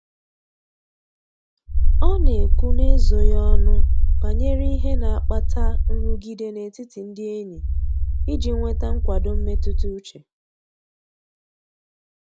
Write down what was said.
Ọ na-ekwu n'ezoghị ọnụ banyere ihe na-akpata nrụgide n'etiti ndị enyi iji nweta nkwado mmetụta uche.